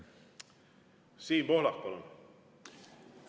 Siim Pohlak, palun!